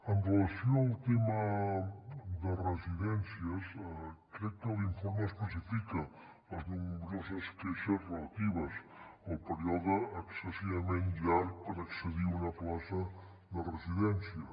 amb relació al tema de residències crec que l’informe especifica les nombroses queixes relatives al període excessivament llarg per accedir a una plaça de residència